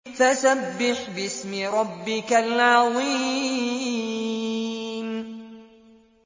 فَسَبِّحْ بِاسْمِ رَبِّكَ الْعَظِيمِ